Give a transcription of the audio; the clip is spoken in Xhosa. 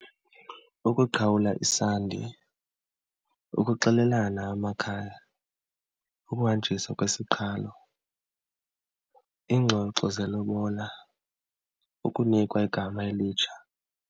Ukuqhawula isandi, ukuxelelana amakhaya, ukuhanjiswa kwesiqhalo, iingxoxo zelobola, ukunikwa igama elitsha.